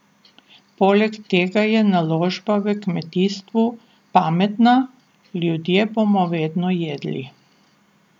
Poleg tega je naložba v kmetijstvo pametna, ljudje bomo vedno jedli.